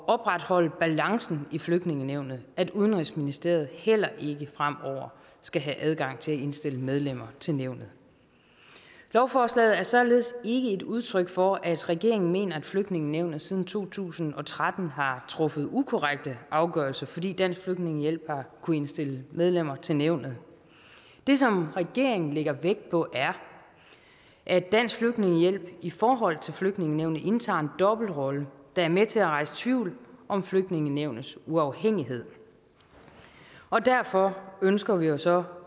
opretholde balancen i flygtningenævnet at udenrigsministeriet heller ikke fremover skal have adgang til at indstille medlemmer til nævnet lovforslaget er således ikke et udtryk for at regeringen mener at flygtningenævnet siden to tusind og tretten har truffet ukorrekte afgørelser fordi dansk flygtningehjælp har kunnet indstille medlemmer til nævnet det som regeringen lægger vægt på er at dansk flygtningehjælp i forhold til flygtningenævnet indtager en dobbeltrolle der er med til at rejse tvivl om flygtningenævnets uafhængighed og derfor ønsker vi jo så